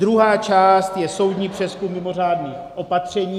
Druhá část je soudní přezkum mimořádných opatření.